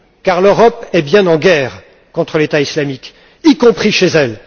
Car l'Europe est bien en guerre contre l'État islamique, y compris chez elle.